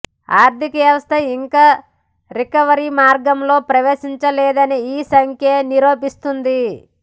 ఆర్థికవ్యవస్థ ఇంకా రికవరీ మార్గంలో ప్రవేశించలేదని ఈ సంఖ్య నిరూపిస్తోంది